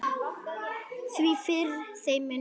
Því fyrr, þeim mun betra.